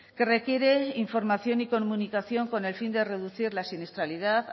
que requiere información y comunicación con el fin de reducir la siniestralidad